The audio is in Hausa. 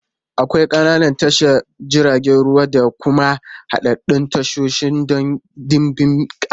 Akwai ƙananan tashar jiragen ruwa da kuma haɗaɗɗun tashoshi don ɗimbin kaya.